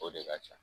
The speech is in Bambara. O de ka ca